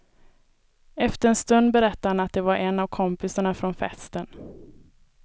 Efter en stund berättar han att det var en av kompisarna från festen.